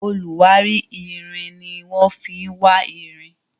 oluwari ìrìn ní wan fí wá ìrìn